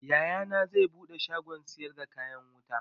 Yayana zai buɗe shagon siyar da kayan wuta